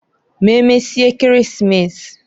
M'emesie Ekeresimesi.